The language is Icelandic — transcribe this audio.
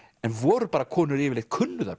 voru bara konur yfirleitt kunnu þær